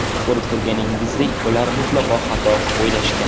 Ko‘rib turganingizdek ular mutlaqo xato o‘ylashgan.